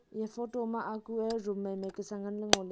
eya photo ma aku e room mai mai kasa ngan ley ngo ley.